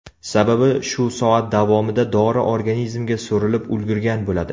Sababi shu soat davomida dori organizmga so‘rilib ulgurgan bo‘ladi.